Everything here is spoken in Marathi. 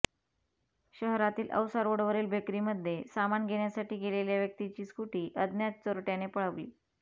शहरातील औसा रोडवरील बेकरीमध्ये सामान घेण्यासाठी गेलेल्या व्यक्तीची स्कुटी अज्ञात चोरट्याने पळवली